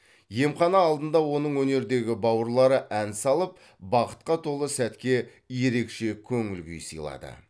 емхана алдында оның өнердегі бауырлары ән салып бақытқа толы сәтке ерекше көңіл күй сыйлады